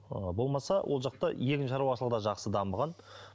ы болмаса ол жақта егін шаруашылығы да жақсы дамыған